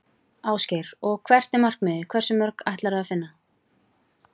Ásgeir: Og hvert er markmiðið, hversu mörg ætlarðu að finna?